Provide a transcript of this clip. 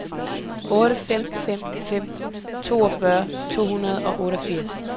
otte fem fem fem toogfyrre to hundrede og otteogfirs